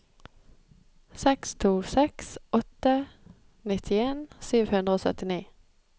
seks to seks åtte nittien sju hundre og syttini